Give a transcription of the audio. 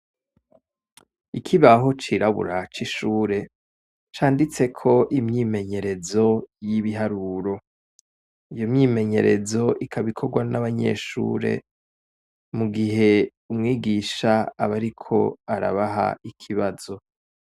Ikibaho cirabura c'ishure canditseko imyimenyerezo y'ibiharuro. Iyo myimenyerezo ikaba ikorwa n'abanyeshure mu gihe umwigisha aba ariko arabaha ikibazo.